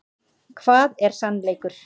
Hvað er sannleikur?